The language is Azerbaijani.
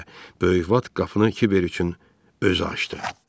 – deyə böyük Vat qapını Kibər üçün özü açdı.